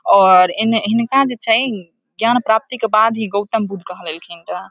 और एने हिनका जे छै ज्ञान प्राप्ति के बाद ही गौतम बुद्ध कहलेलखिन रहे।